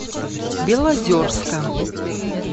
белозерска